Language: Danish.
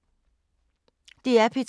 DR P2